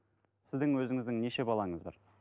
сіздің өзіңіздің неше балаңыз бар